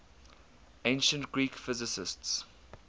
ancient greek physicists